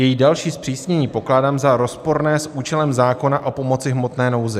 Její další zpřísnění pokládám za rozporné s účelem zákona o pomoci v hmotné nouzi.